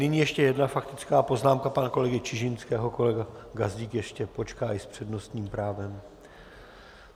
Nyní ještě jedna faktická poznámka pana kolegy Čižinského, kolega Gazdík ještě počká i s přednostním právem.